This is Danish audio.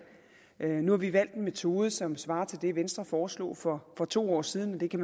nu har vi valgt en metode som svarer til det venstre foreslog for for to år siden man kan